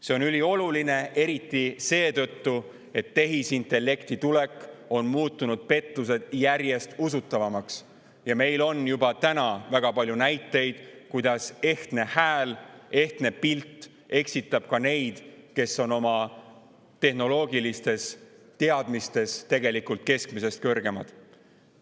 See on ülioluline, eriti seetõttu, et tehisintellekti tulek on muutnud pettused järjest usutavamaks ja meil on juba täna väga palju näiteid, kuidas ehtne hääl, ehtne pilt eksitab ka neid, kes on oma tehnoloogilistes teadmistes tegelikult keskmisest kõrgemad.